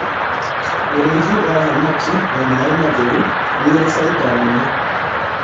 ũrĩithi wa thamakĩ na maĩ matheru nĩuri baida nene